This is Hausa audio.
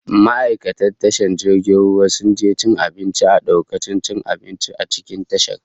Ma'aikatan tashan jirgin ruwan sun je cin abinci a dakunan cin abinci a cikin tashar